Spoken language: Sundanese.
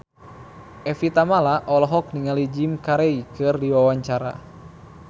Evie Tamala olohok ningali Jim Carey keur diwawancara